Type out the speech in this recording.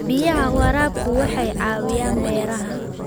Biyaha waraabku waxay caawiyaan beeraha.